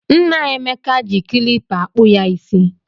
Nna Emeka ji klipa akpụ ya ịsị.